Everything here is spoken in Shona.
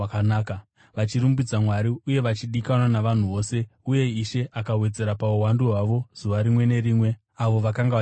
vachirumbidza Mwari uye vachidikanwa navanhu vose. Uye Ishe akawedzera pauwandu hwavo zuva rimwe nerimwe avo vakanga vachiponeswa.